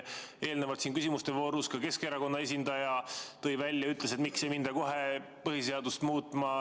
Eelnevalt siin küsimuste voorus ka Keskerakonna esindaja ütles, et miks ei minda kohe põhiseadust muutma.